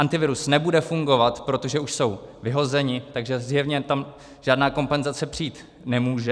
Antivirus nebude fungovat, protože už jsou vyhozeni, takže zjevně tam žádná kompenzace přijít nemůže.